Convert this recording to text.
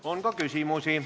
On ka küsimusi.